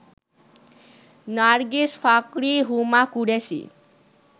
Nargis Fakhri, Huma Qureshi